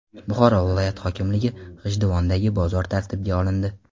Buxoro viloyat hokimligi: G‘ijduvondagi bozor tartibga olindi.